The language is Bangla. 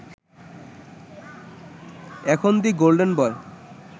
এখন 'দ্য গোল্ডেন বয়'